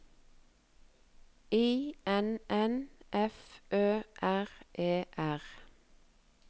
I N N F Ø R E R